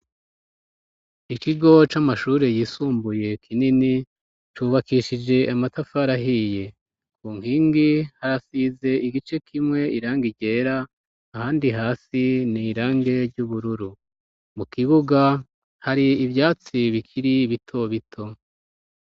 Ikigo c'amashure yisumbuye kinini cubakishije amatafarahiye ku nkingi harasize igice kimwe iranga iryera ahandi hasi n'irange ry'ubururu mu kibuga hari ivyatsi bikiri bitobito.